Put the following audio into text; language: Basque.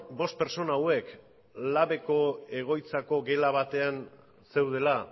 bost pertsona hauek labeko egoitzako gela batean zeudela